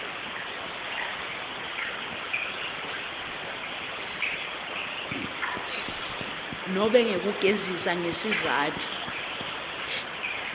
nobe ngekugegisa ngesizatfu